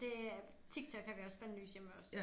Det er TikTok har vi også bandlyst hjemme ved os